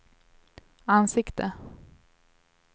ansikte